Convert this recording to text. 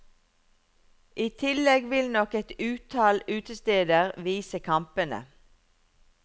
I tillegg vil nok et utall utesteder vise kampene.